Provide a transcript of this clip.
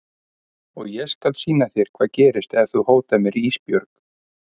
Og ég skal sýna þér hvað gerist ef þú hótar mér Ísbjörg.